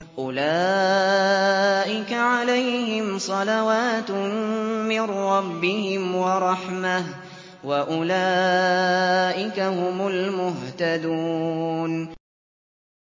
أُولَٰئِكَ عَلَيْهِمْ صَلَوَاتٌ مِّن رَّبِّهِمْ وَرَحْمَةٌ ۖ وَأُولَٰئِكَ هُمُ الْمُهْتَدُونَ